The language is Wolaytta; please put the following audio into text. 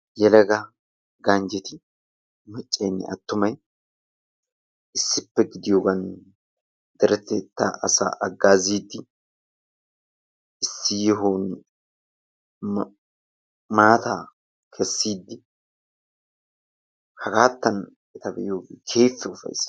yelaga ganjeti maccayinne attumay issippe gidiyoogan deretettaa asaa hagaaziidi issi yohuwan maataa bessiiddi hagaattan eta be'iyooge keehippe ufayisses.